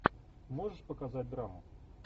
можешь показать драму